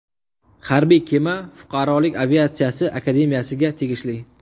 Harbiy kema fuqarolik aviatsiyasi Akademiyasiga tegishli.